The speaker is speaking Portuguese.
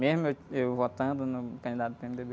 Mesmo eu, eu votando no candidato do pê-eme-dê-bê.